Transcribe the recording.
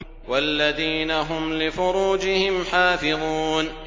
وَالَّذِينَ هُمْ لِفُرُوجِهِمْ حَافِظُونَ